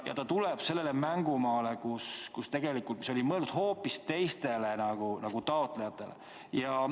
Ta tuleb sellele mängumaale, mis oli tegelikult mõeldud hoopis teistele taotlejatele.